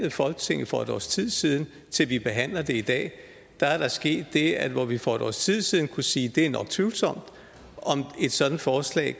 i folketinget for et års tid siden til vi behandler det i dag er der sket det at hvor vi for et års tid siden kunne sige at det nok var tvivlsomt at et sådant forslag